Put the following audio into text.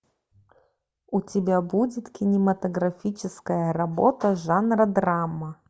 у тебя будет кинематографическая работа жанра драма